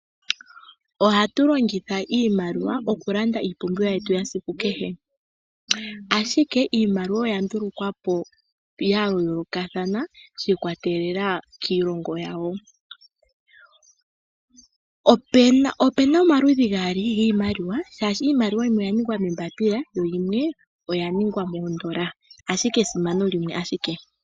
Ohatu longitha iimaliwa oku landa iipumbiwa yetu yasiku kehe, ashike iimaliwa oya ndulukwa po ya yooloka thana shi ikwatelela kiilongo yawo. Opena omaludhi gaali giimaliwa shaashi iimaliwa yimwe oya ningwa moombapila yo yimwe oya ningwa moondola ashike esimano limwe ashike.